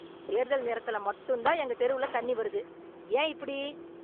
தேர்தல் நேரத்துல மட்டும் தான் எங்க தெருவுல தண்ணி வருது, ஏன் இப்படி?